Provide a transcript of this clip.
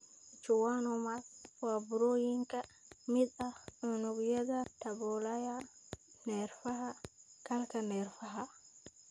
Schwannomas waa burooyin ka mid ah unugyada daboolaya neerfaha (galka neerfaha).